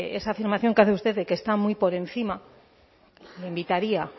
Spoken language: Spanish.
esa afirmación que hace usted de que está muy por encima le invitaría